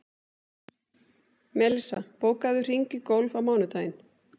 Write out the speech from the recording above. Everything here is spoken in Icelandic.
Melissa, bókaðu hring í golf á mánudaginn.